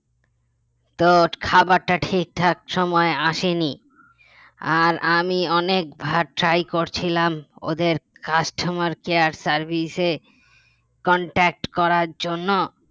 তো খাবারটা ঠিকঠাক সময়ে আসেনি আর আমি অনেক বার try করছিলাম ওদের customer care service এ contact করার জন্য